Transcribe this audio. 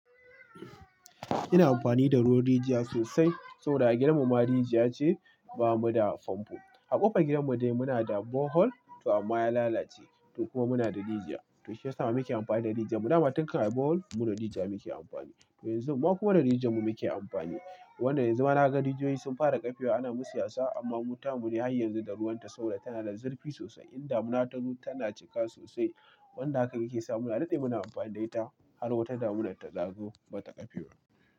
Ina amfani da ruwan rijiya sosai saboda a gidanmu ma rijiya ce, bamu da famfo. A ƙofar gidanmu dai muna da borehole to amma ya lalace. Mu kuma muna da rijiya. To shi ya sa muke amfani da rijiyar mu. Dama tunkan ayi borehole mu da rijiya muke amfani. Yanzun ma kuma da rijiyar mu muke amfani. Wanda yanzu ma na ga rijiyoyi sun fara ƙafe wa ana musu yasa amma mu tamu dai har yanzu da ruwan ta. Sboda tana da zurfi sosai. In damuna tazo tana cika sosai. Wanda hakan yake sa muna daɗe muna amfani da ita har wata damunan ta dawo bata ƙafe ba.